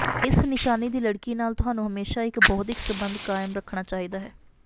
ਇਸ ਨਿਸ਼ਾਨੀ ਦੀ ਲੜਕੀ ਨਾਲ ਤੁਹਾਨੂੰ ਹਮੇਸ਼ਾਂ ਇਕ ਬੌਧਿਕ ਸਬੰਧ ਕਾਇਮ ਰੱਖਣਾ ਚਾਹੀਦਾ ਹੈ